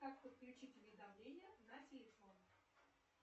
как подключить уведомления на телефон